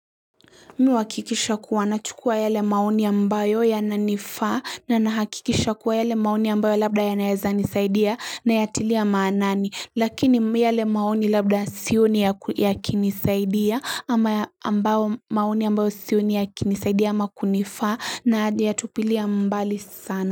Mimi huakikisha kuwa na chukua yale maoni ambayo ya nanifaa na nahakikisha kuwa yale maoni ambayo labda yanaeza nisaidia nayatilia maanani lakini yale maoni labda sioni ya kinisaidia ama ambao maoni ambayo sioni ya kinisaidia ama kunifaa nayatupilia mbali sana.